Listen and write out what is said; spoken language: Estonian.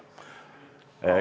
Ma ei teadnud seda.